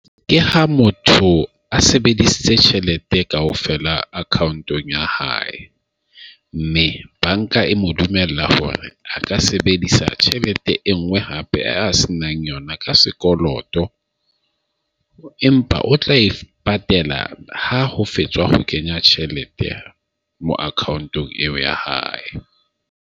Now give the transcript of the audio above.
Ke ha motho a sebedisitse tjhelete kaofela account-ong ya hae, mme banka e mo dumella hore a ka sebedisa tjhelete e nngwe hape a se nang yona ka sekoloto empa o tla e patela ha ho fetswa ho kenya tjhelete mo account-ong eo ya hae.